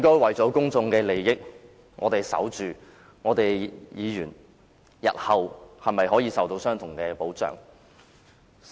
為了公眾利益，我們是否應該捍衞議員日後可以得到相同的保障呢？